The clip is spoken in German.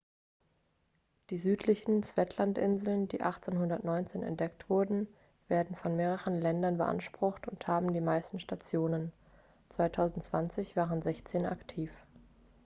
die südlichen shetlandinseln die 1819 entdeckt wurden werden von mehreren ländern beansprucht und haben die meisten stationen 2020 waren sechzehn aktiv